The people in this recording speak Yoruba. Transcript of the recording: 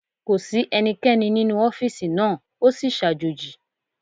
Kò sí ẹnikẹ́ni nínú ọ́fìsì náà, o sì sàjòji